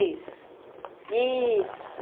Isso, isso.